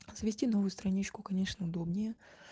завести новую страничку конечно удобнее